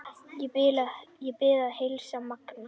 Ég bið að heilsa Manga!